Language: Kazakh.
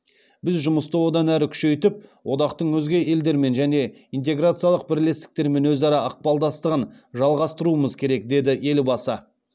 біз жұмысты одан әрі күшейтіп одақтың өзге елдермен және интеграциялық бірлестіктермен өзара ықпалдастығын жалғастыруымыз керек деді елбасы